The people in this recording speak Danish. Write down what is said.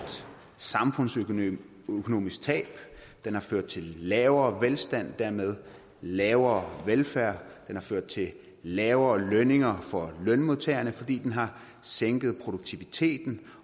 samfundsøkonomisk tab den har ført til lavere velstand og dermed lavere velfærd den har ført til lavere lønninger for lønmodtagerne fordi den har sænket produktiviteten